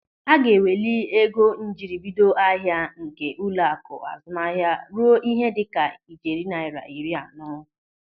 Aga eweli ego njiribido ahịa nke ụlọaku azụmahịa ruo ihe dịka ijeri naira iri anọ.